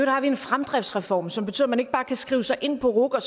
har vi en fremdriftsreform som betyder at man ikke bare kan skrive sig ind på ruc og